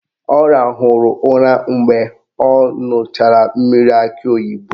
Ọ rahụrụ ụra mgbe ọ ṅụchara mmiri akị oyibo